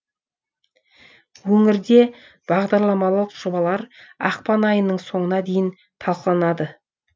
өңірде бағдарламалық жобалар ақпан айының соңына дейін талқыланады